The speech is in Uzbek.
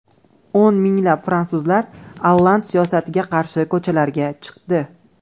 O‘n minglab fransuzlar Olland siyosatiga qarshi ko‘chalarga chiqdi.